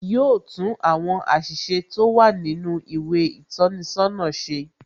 Yo tún àwọn àṣìṣe tó wà nínú ìwé ìtọ́ni sọ́nà ṣe.